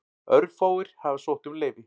Örfáir hafa sótt um leyfi.